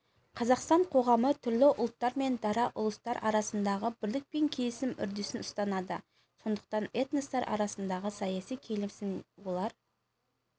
қазақстан қоғамы түрлі ұлттар мен дара ұлыстар арасындағы бірлік пен келісім үрдісін ұстанады сондықтан этностар арасындағы саяси келісім олар